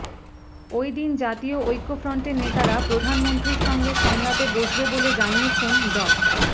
ওইদিন জাতীয় ঐক্যফ্রন্টের নেতারা প্রধানমন্ত্রীর সঙ্গে সংলাপে বসবেন বলে জানিয়েছেন ড